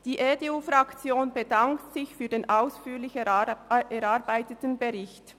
Die EDU-Fraktion bedankt sich für den ausführlich erarbeiteten Bericht.